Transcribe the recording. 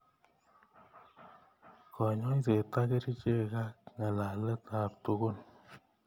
Kanyoiset ko kerichek ak ng'alalet ab tukun.